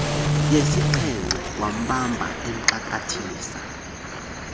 yesixhenxe wambamba emxakathisa